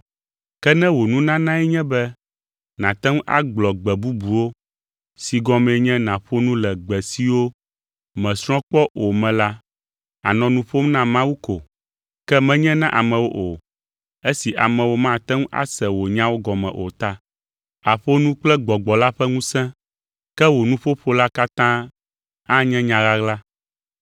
Ke ne wò nunanae nye be nàte ŋu agblɔ “gbe bubuwo” si gɔmee nye nàƒo nu le gbe siwo mèsrɔ̃ kpɔ o me la, ànɔ nu ƒom na Mawu ko, ke menye na amewo o, esi amewo mate ŋu ase wò nyawo gɔme o ta. Àƒo nu kple Gbɔgbɔ la ƒe ŋusẽ, ke wò nuƒoƒo la katã anye nya ɣaɣla.